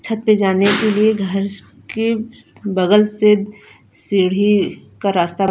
छद पर जाने के लिए घरस के बगल से सिड़ी का रास्ता --